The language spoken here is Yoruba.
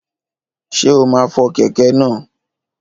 Ṣé o máa fọ kẹ̀kẹ́ náà?